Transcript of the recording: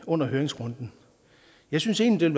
under høringsrunden jeg synes egentlig